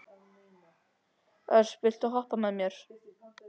Ösp, viltu hoppa með mér?